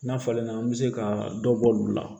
N'a falenna an bɛ se ka dɔ bɔ olu la